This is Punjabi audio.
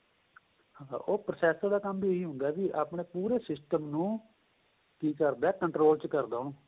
ਹਾਂ ਉਹ processor ਦਾ ਕੰਮ ਵੀ ਇਹੀ ਹੁੰਦਾ ਵੀ ਆਪਣੇਂ ਪੂਰੇ system ਨੂੰ ਕਿ ਕਰਦਾ ਏ control ਚ ਕਰਦਾ ਉਹਨੂੰ